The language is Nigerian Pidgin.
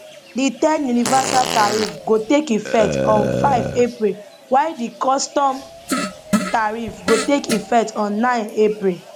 di ten universal tariff go take effect on 5 april while di custom tariff go take effect on 9 april